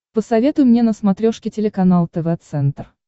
посоветуй мне на смотрешке телеканал тв центр